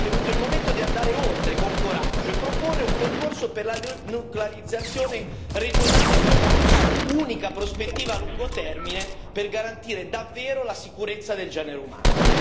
Ma forse è venuto il momento di andare oltre con coraggio e proporre un percorso per la denuclearizzazione regionale e globale, unica prospettiva a lungo termine per garantire davvero la sicurezza del genere umano.